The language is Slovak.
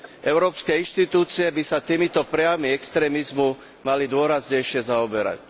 Európske inštitúcie by sa týmito prejavmi extrémizmu mali dôraznejšie zaoberať.